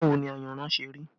Báwo ni ayanran ṣe rí?